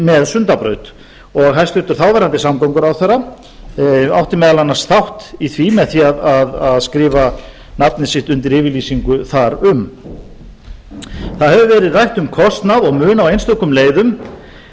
með sundabraut hæstvirtur þáverandi samgönguráðherra átti meðal annars þátt í því með því að skrifa nafnið sitt undir yfirlýsingu þar um það hefur verið rætt um kostnað og mun á einstökum leiðum